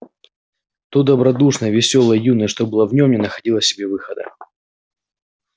то добродушное весёлое юное что было в нём не находило себе выхода